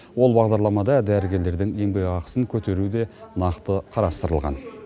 ол бағдарламада дәрігерлердің еңбекақысын көтеру де нақты қарастырылған